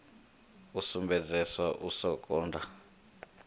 a sumbedzesa u sa londa